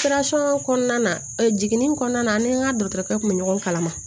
kɔnɔna na jiginni kɔnɔna na ne ni n ka dɔgɔtɔrɔkɛ kun bɛ ɲɔgɔn kalama